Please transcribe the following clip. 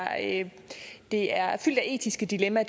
at det her er fyldt af etiske dilemmaer